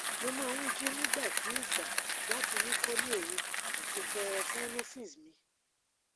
mo man ji nigba si igba lati wuko ni oru ati fo sinuses mi